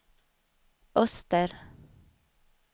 öster